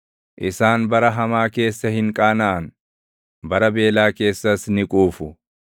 Isaan bara hamaa keessa hin qaanaʼan; bara beelaa keessas ni quufu.